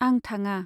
आं थाङा।